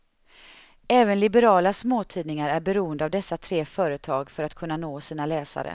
Även liberala småtidningar är beroende av dessa tre företag för att kunna nå sina läsare.